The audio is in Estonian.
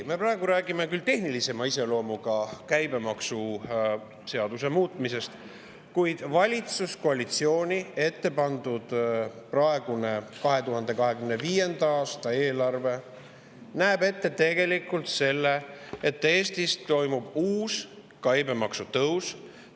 Me praegu räägime küll tehnilisema iseloomuga käibemaksuseaduse muudatusest, kuid valitsuskoalitsiooni ettepandud 2025. aasta eelarve näeb ette tegelikult selle, et Eestis toimub uus käibemaksu tõus.